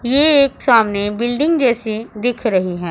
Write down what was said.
ये एक सामने बिल्डिंग जैसी दिख रही है।